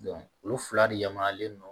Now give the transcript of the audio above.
olu fila de yamaruyalen don